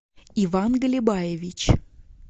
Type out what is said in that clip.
иван галибаевич